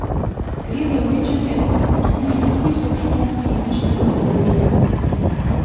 Gre za uničenje približno tisoč ton kemičnega orožja.